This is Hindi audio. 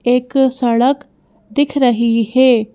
एक सड़क दिख रही है।